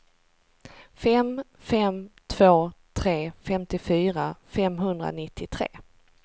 fem fem två tre femtiofyra femhundranittiotre